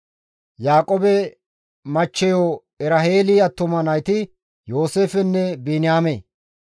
Yaaqoobe machcheyo Eraheeli attuma nayti Yooseefenne Biniyaame.